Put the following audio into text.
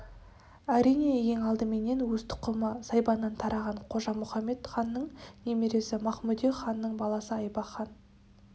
әрине ең алдыменен өз тұқымы сайбаннан тараған қожа-мұхамед ханның немересі махмудек ханның баласы айбақ хан